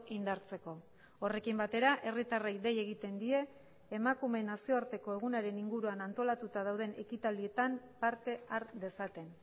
indartzeko horrekin batera herritarrei dei egiten die emakumeen nazioarteko egunaren inguruan antolatuta dauden ekitaldietan parte har dezaten